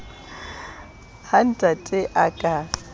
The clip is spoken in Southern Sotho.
ha ntate a ka a